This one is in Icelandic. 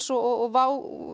og WOW